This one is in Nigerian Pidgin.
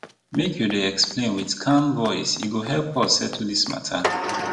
make you dey explain wit calm voice e go help us settle di mata